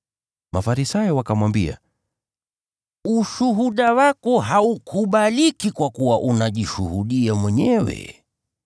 Mafarisayo wakamwambia, “Ushuhuda wako haukubaliki kwa kuwa unajishuhudia mwenyewe.”